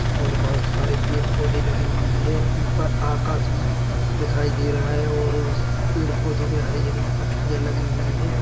और बहोत सारे पेड़ पौधे लगे हुए हैं ऊपर आकाश भी दिखाई दे रहा और उस पेड़ पौधों में हरी हरी पत्तियां लगी हुई हैं।